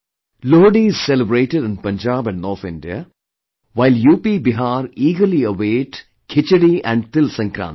Lohdi is celebrated in Punjab and NorthIndia, while UPBihar eagerly await for Khichdi and TilSankranti